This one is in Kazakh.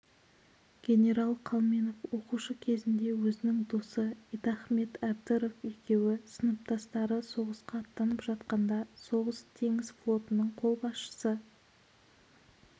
генерал қалменов оқушы кезінде өзінің досы идахмет әбдіров екеуі сыныптастары соғысқа аттанып жатқанда соғыс-теңіз флотының қолбасшысы